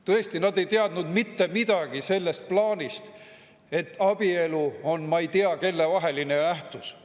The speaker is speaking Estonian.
Tõesti, nad ei teadnud mitte midagi sellest plaanist, et abielu on ei tea kelle vaheline nähtus.